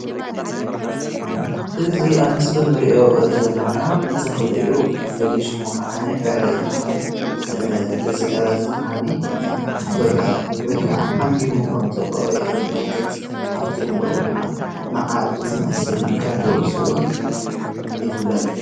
እዚ ኣብ ምስሊ እንሪኦ ዘለና ተኽሊ እዩ ፍሉይ ሽሙ ከዓኒ ዕረ ይበሃል እዚ ዕረ እዚ ከዓ ፍረ ወይ ከዓ ዓንቢቡ ከም ዘሎ የመልክት አብቲ ዕንበብኡ ከዓ መዓር ዝመስል ከም ዘውፅእ እዉን ይፍለጥ።